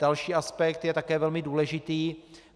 Další aspekt je také velmi důležitý.